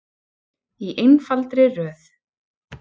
Í einfaldri röð.